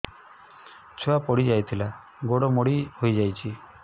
ଛୁଆ ପଡିଯାଇଥିଲା ଗୋଡ ମୋଡ଼ି ହୋଇଯାଇଛି